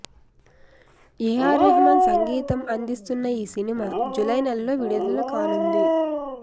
AR Rahman సంగీతం అందిస్తున్న ఈ సినిమా జులై నెలలో విడుదల కానుంది